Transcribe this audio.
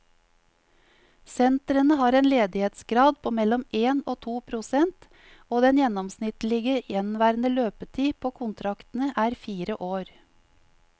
Sentrene har en ledighetsgrad på mellom én og to prosent, og den gjennomsnittlige gjenværende løpetid på kontraktene er fire år.